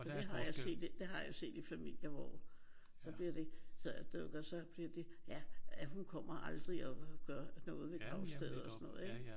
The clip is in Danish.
For det har jeg set det har jeg jo set i familier hvor så bliver det. Så bliver det ja og hun kommer aldrig og gør noget ved gravstedet og sådan noget ik?